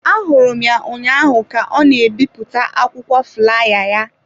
Ahụrụ m ya ụnyaahụ ka ọ na-ebipụta akwụkwọ fulaya ya.